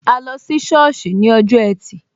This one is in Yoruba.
A lọ sí sọ́ọ̀sì ní ọjọ́ ẹtì